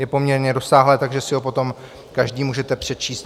Je poměrně rozsáhlé, takže si ho potom každý můžete přečíst.